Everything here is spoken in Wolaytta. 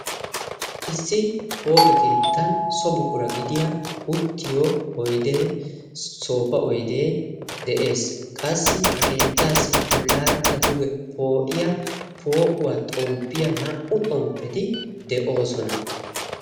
Issi pooqe keettan sobuqura gidiya uttiyo oydee soofa oydee de'ees. qassi ha keettaassi bollaarakka duge poo'iya poo'uwaa xomppiyaa naa'u xomppeti de'oosona?